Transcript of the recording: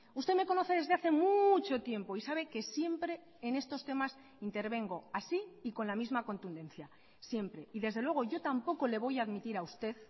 usted me conoce desde hace mucho tiempo y sabe que siempre en estos temas intervengo así y con la misma contundencia siempre y desde luego yo tampoco le voy a admitir a usted